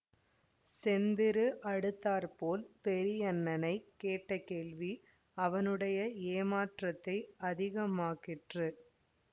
செந்திரு அடுத்தாற்போல் பெரியண்ணனைக் கேட்ட கேள்வி அவனுடைய ஏமாற்றத்தை அதிகமாக்கிற்று